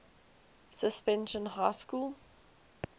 suspension high school